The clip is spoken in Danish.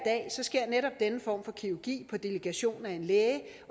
sker netop denne form for kirurgi på delegation af en læge